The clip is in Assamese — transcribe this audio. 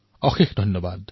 অশেষ ধন্যবাদ